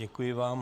Děkuji vám.